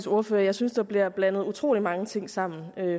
ordfører at jeg synes der bliver blandet utrolig mange ting sammen